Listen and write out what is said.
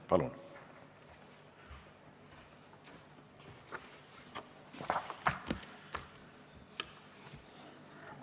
Palun!